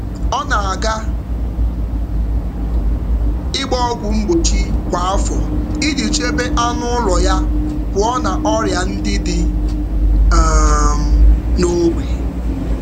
Ọ na-aga ịgba ọgwụ mgbochi kwa afọ iji chebe anụ ụlọ ya pụọ na ọrịa ndị dị n’ógbè.